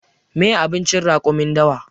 Meye abincin raƙumin dawa?